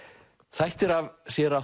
þættir af séra